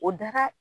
O daga